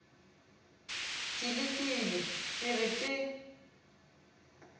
ke lekile ke re ke